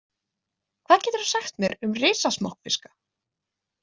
Hvað geturðu sagt mér um risasmokkfiska?